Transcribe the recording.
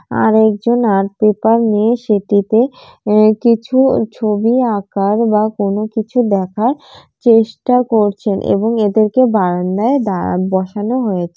আরেকজন art paper নিয়ে সেটিতে আঃ কিছু ছবি আঁকার বা কোন কিছু দেখার চেষ্টা করছেন এবং এদেরকে বারান্দায় দাঁড়া বসানো হয়েছে।